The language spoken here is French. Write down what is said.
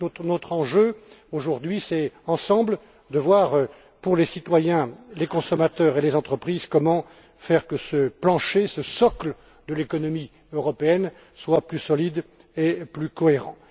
Notre enjeu, aujourd'hui, c'est donc de voir ensemble, pour les citoyens, les consommateurs et les entreprises comment faire pour que ce plancher, ce socle de l'économie européenne, soit plus solide et plus cohérent.